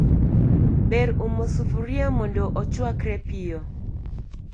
Ber umo sufria mondo ochwakre piyo